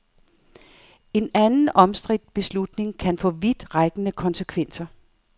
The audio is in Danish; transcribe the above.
En anden omstridt beslutning kan få vidtrækkende konsekvenser.